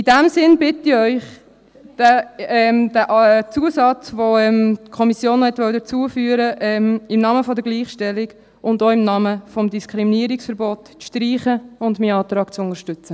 In diesem Sinn bitte ich Sie, den Zusatz, den die Kommission hinzufügen will, im Namen der Gleichstellung und auch im Namen des Diskriminierungsverbots, zu streichen und meinen Antrag zu unterstützen.